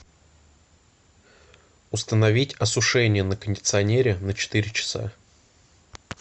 установить осушение на кондиционере на четыре часа